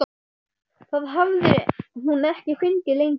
Það hafði hún ekki fengið lengi.